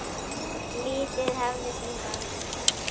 Lífið hafði sinn gang.